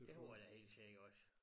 Det tror jeg da helt sikkert også